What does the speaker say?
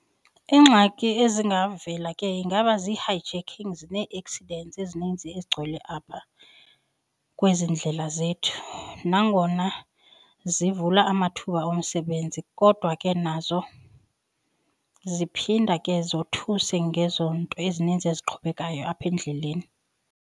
Iingxaki ezingavela ke ingaba zii-hijackings nee-accidents ezininzi ezigcwele apha kwezi ndlela zethu. Nangona zivula amathuba omsebenzi kodwa ke nazo ziphinda ke zothuse ngezo nto ezininzi eziqhubekayo apha endleleni.